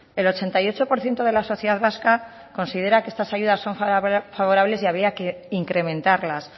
el ochenta y ocho por ciento de la sociedad vasca considera que estas ayudas son favorables y había que incrementarlas